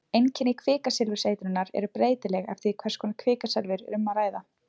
Einkenni kvikasilfurseitrunar eru breytileg eftir því hvers konar kvikasilfur er um að ræða.